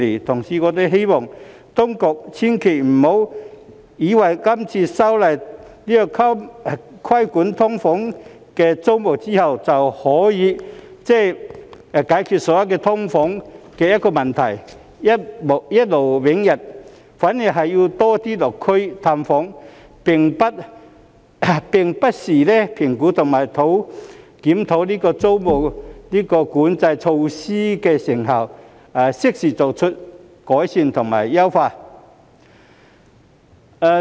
同時，我們希望當局千萬不要以為今次修例規管"劏房"租務後便可以解決所有"劏房"問題，一勞永逸；反而，當局是要多些落區探訪，並不時評估及檢討租務管制措施的成效，適時作出改善和優化。